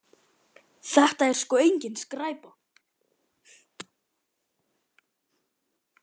Þetta er sko engin skræpa.